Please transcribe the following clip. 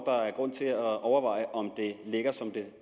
der er grund til at overveje om det ligger som